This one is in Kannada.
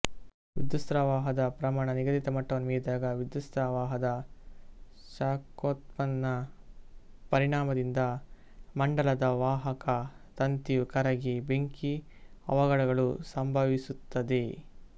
ವಿದ್ಯುತ್ಸ್ರವಾಹದ ಪ್ರಮಾಣ ನಿಗದಿತ ಮಟ್ಟವನ್ನು ಮೀರಿದಾಗ ವಿದ್ಯುತ್ಸ್ರವಾಹದ ಶಾಖೋತ್ಪನ್ನ ಪರಿಣಾಮದಿಂದ ಮಂಡಲದ ವಾಹಕ ತಂತಿಯು ಕರಗಿ ಬೆಂಕಿ ಅವಗಡಗಳು ಸಂಭವಿಸುತ್ತದೆ